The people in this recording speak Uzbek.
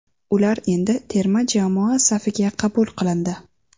Ular endi terma jamoa safiga qabul qilindi.